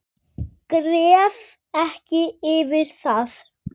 Gref ekki yfir það.